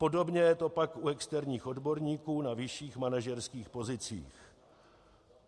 Podobně je to pak u externích odborníků na vyšších manažerských pozicích.